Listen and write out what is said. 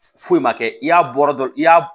Foyi ma kɛ i y'a bɔ dɔrɔn i y'a